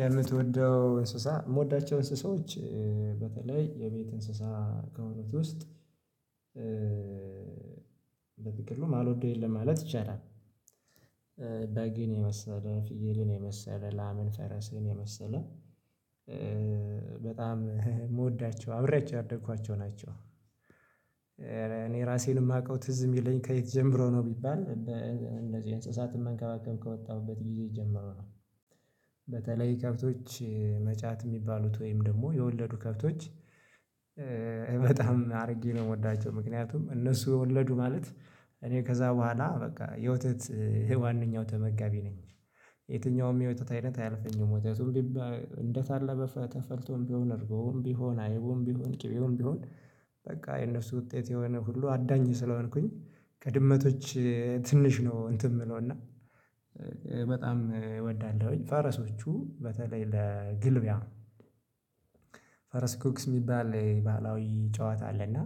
የምትወደው እንስሳ የምወዳቸው እንስሳዎች በተለይ የቤት እንስሳ ከሆኑት ውስጥ በትክክል ነው የማልወደው የለም ማለት ይቻላል። በግን የመሰለ ፍየልን የመሰለ ላምን ፈረስን የመሰለ በጣም ምወዳቸው አብሬአቸው ያደኩዋቸው ናቸው። እኔ ራሴን የማውቀው ትዝ የሚለኝ ከየት ጀምሮ ነው ቢባል በእንደዚህ እንስሳትን መንከባከብ ከወጣሁበት ጊዜ ጀመሮ ነው በተለይ ከብቶች መጫት የሚባሉት ወይም ደግሞ የወለዱ ከብቶች በጣም አድርጌ ነው የምወዳቸው ምክንያቱም እነሱ የወለዱ ማለት እኔ ከዛ በኋላ በቃ የወተት ዋናው ተመጋቢ ነኝ የትኛውም የወተት አይነት አያልፈኝም ወተቱም እንደታለበ ተፈልቶም ቢሆን እርጎውም ቢሆን አይቡም ቢሆን ቅቤውም ቢሆን በቃ የነሱ ውጤት የሆነ ሁሉ አዳኝ ስለሆንኩኝ ከድመቶች ትንሽ ነው እንትን የምለው እና በጣም እወዳለሁኝ ፋረሶቹ በተለይ ለግልቢያ ፈረስ ጉክስ የሚባል ባህላዊ ጨዋታ አለና